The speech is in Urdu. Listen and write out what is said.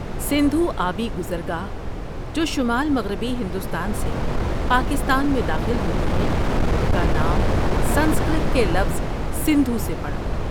سندھو آبی گزرگاہ جو شمال مغربی ہندوستان سے پاکستان میں داخل ہوتی ہے، کا نام سنسکرت کے لفظ سندھو سے پڑا۔